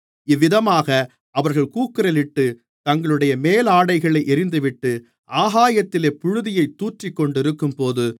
இவ்விதமாக அவர்கள் கூக்குரலிட்டுத் தங்களுடைய மேலாடைகளை எறிந்துவிட்டு ஆகாயத்திலே புழுதியைத் தூற்றிக்கொண்டிருக்கும்போது